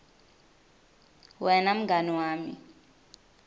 wena mngani wami